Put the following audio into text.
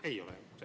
Ei ole.